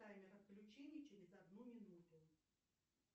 таймер отключения через одну минуту